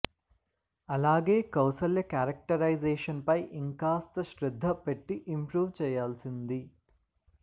అలాగే కౌసల్య క్యారెక్టరైజేషణ్ పై ఇంకాస్త శ్రద్ధ పెట్టి ఇంప్రూవ్ చేయాల్సింది